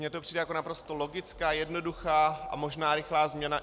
Mně to přijde jako naprosto logická, jednoduchá a možná rychlá změna.